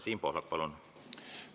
Siim Pohlak, palun!